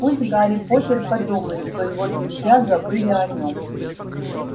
пусть гарри поттер подумает что его друзья забыли о нём